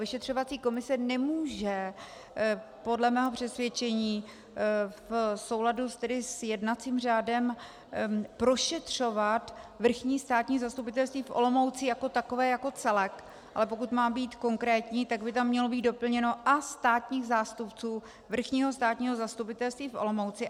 Vyšetřovací komise nemůže podle mého přesvědčení v souladu s jednacím řádem prošetřovat Vrchní státní zastupitelství v Olomouci jako takové, jako celek, ale pokud mám být konkrétní, tak by tam mělo být doplněno "a státních zástupců Vrchního státního zastupitelství v Olomouci".